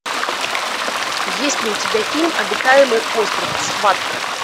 есть ли у тебя фильм обитаемый остров схватка